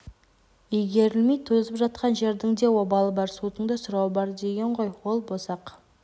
игерілмей тозып жатқан жердің де обалы бар судың да сұрауы бар деген ғой ол босақ